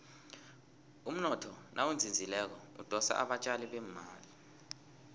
umnotho nawuzinzileko udosa abatjali bemali